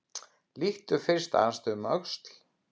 Lítum fyrst aðeins um öxl.